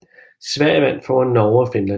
Sverige vandt foran Norge og Finland